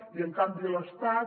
i en canvi l’estat